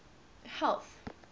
health